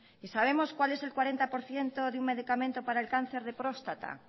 y sabemos cuál es el cuarenta por ciento de un medicamento para el cáncer de próstata